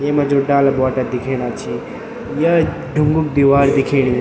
येमा जू डाला बोटा दिखेणा छी या ढुंगु दीवार दिखेणी।